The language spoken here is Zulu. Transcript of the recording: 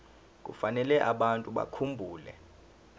kufanele abantu bakhumbule